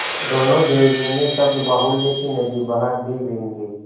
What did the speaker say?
दोनों देवियों ने शब्दबाहुल्य की नदी बहा दी व्यंग्य